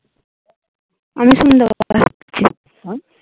আমি শুনতে উম